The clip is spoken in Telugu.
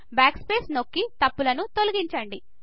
బ్యాక్ స్పేస్ నొక్కి తప్పులను తొలగించండి